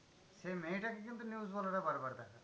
সেই মেয়েটাকে কিন্তু news ওয়ালারা বার বার দেখায়।